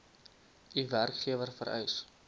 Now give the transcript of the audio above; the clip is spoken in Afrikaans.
u werkgewer vereis